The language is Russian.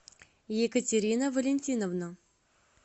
екатерина валентиновна